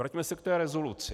Vraťme se k té rezoluci.